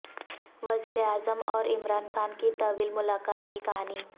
وزیر اعظم اور عمران خان کی طویل ملاقات کی کہانی